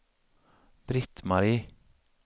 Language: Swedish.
Britt-Marie